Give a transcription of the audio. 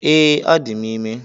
Ee, adi m ime.